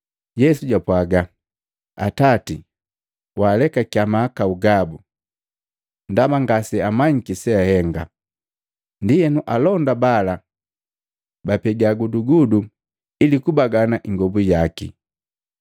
Yesu japwaga “Atati! Waalekakiya mahakahu gabu ndaba ngase amanyiki se ahenga.” Ndienu alonda bala bapega gudugudu ili kubagana ingobu yaki.